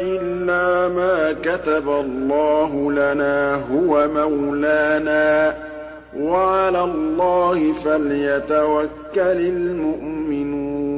إِلَّا مَا كَتَبَ اللَّهُ لَنَا هُوَ مَوْلَانَا ۚ وَعَلَى اللَّهِ فَلْيَتَوَكَّلِ الْمُؤْمِنُونَ